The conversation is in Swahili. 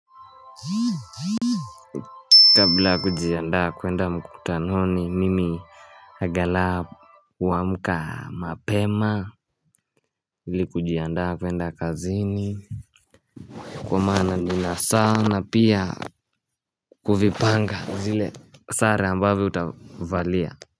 Kabla kujianda kuenda mkutanoni mimi angala huamka mapema ili kujianda kuenda kazini Kwa maana nina saa na pia kuvipanga zile sare ambavyo utavalia.